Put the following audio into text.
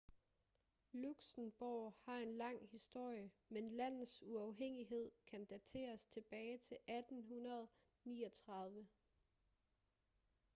luxembourg har en lang historie men landets uafhængighed kan dateres tilbage til 1839